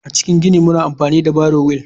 A cikin gini muna amfani da barrow wheel.